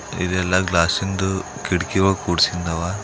ಇದೆಲ್ಲಾ ಗ್ಲಾಸ್ಸಿಂದು ಕಿಟಕಿಒಳಗ್ ಕುರ್ಸಿದ್ ಅವ.